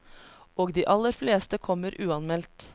Og de aller fleste kommer uanmeldt.